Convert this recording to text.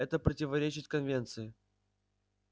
это противоречит конвенции